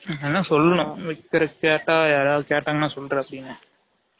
இந்த அன்னா சொல்லும் ஒருதர் கேட்டா யாராது கேட்டாங்கனா சொல்லு டா சீனு